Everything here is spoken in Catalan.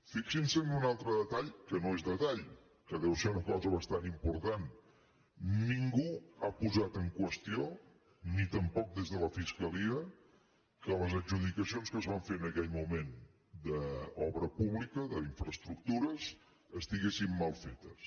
fixin·se en un altre detall que no és detall que deu ser una cosa bastant important ningú ha posat en qüestió ni tampoc des de la fiscalia que les adjudicacions que es van fer en aquell moment d’obra pública d’infraes·tructures estiguessin mal fetes